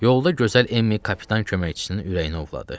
Yolda gözəl Emmi kapitan köməkçisinin ürəyini ovladı.